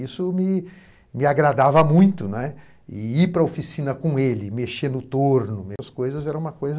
Isso me me agradava muito, né, e ir para a oficina com ele, mexer no torno, essas coisas eram uma coisa